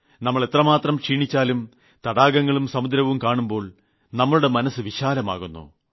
നമ്മൾ എത്രമാത്രം ക്ഷീണിച്ചാലും തടാകങ്ങളും സമുദ്രവും കാണുമ്പോൾ നമുടെ മനസ്സ് വിശാലമാകുന്നു